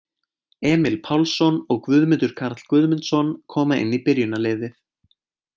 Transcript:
Emil Pálsson og Guðmundur Karl Guðmundsson koma inn í byrjunarliðið.